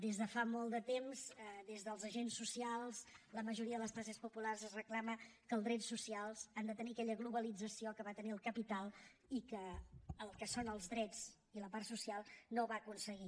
des de fa molt de temps des dels agents socials la majoria de les classes populars es reclama que els drets socials han de tenir aquella globalització que va tenir el capital i que en el que són els drets i la part social no va aconseguir